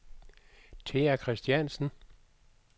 Thea Christiansen